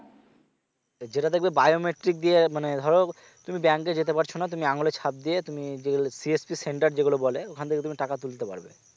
যেটা দেখবে biometric দিয়ে মানে ধরো তুমি bank এ যেতে পারছ না তুমি আঙুলের ছাপ দিয়ে তুমি যেগুলো CSC center যেগুলো বলে ওখান থেকে তুমি টাকা তুলতে পারবে